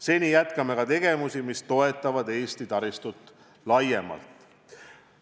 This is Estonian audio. Seni aga jätkame tegevusi, mis toetavad Eesti taristut laiemalt.